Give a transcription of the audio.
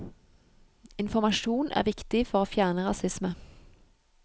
Informasjon er viktig for å fjerne rasisme.